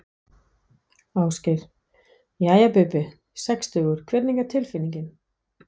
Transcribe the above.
Ásgeir: Jæja Bubbi, sextugur hvernig er tilfinningin?